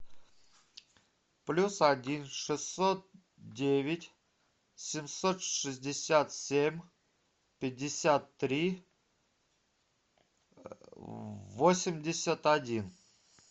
плюс один шестьсот девять семьсот шестьдесят семь пятьдесят три восемьдесят один